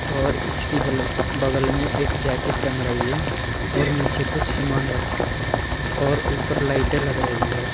और इसकी बलग बगल में एक जैकेट टंग रही है और नीचे कुछ सामान रखा है और ऊपर लाइटे लग रही है।